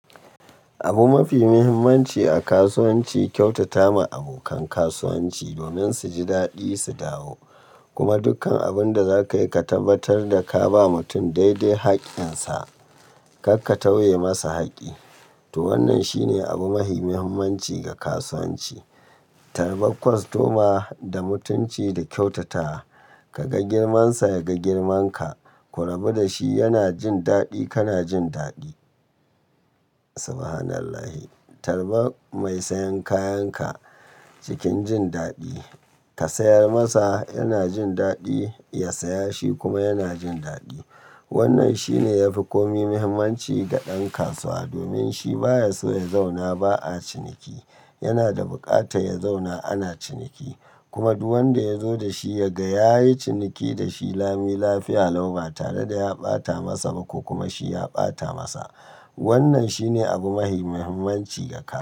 Abu mafi muhimmanci a kasuwanci kyautata ma abokan kasuwanci domin su ji daɗi su dawo. Kuma dukkan abun da za ka yi ka tabbatar da ka ba mutum daidai haƙƙinsa, kar ka tauye masa haƙƙi. To wannan shi ne abu mafi muhimmanci ga kasuwanci. Tarbar kwastoma, da mutunci da kyautata. Ka ga girmansa, ya ga girmanka. Ku rabu da shi yana jin daɗi, kana jin daɗi. Subhanallahi. Tarba mai sayan kayanka cikin jin daɗi, ka sayar masa yana jin daɗi, ya saya shi kuma yana jin daɗi. Wannan shine yafi komai muhimmanci ga ɗan kasuwa domin shi baya so ya zauna ba a ciniki. Yana da buƙatar ya zauna ana ciniki. Kuma duk wanda ya zo da shi ya ga yayi ciniki da shi lami lafiya lau ba tare da ya ɓata masa ba ko kuma shi ya ɓata masa. Wannan shine abu mafi muhimmanci ga kas.